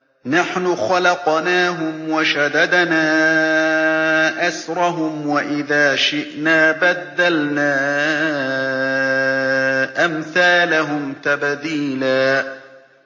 نَّحْنُ خَلَقْنَاهُمْ وَشَدَدْنَا أَسْرَهُمْ ۖ وَإِذَا شِئْنَا بَدَّلْنَا أَمْثَالَهُمْ تَبْدِيلًا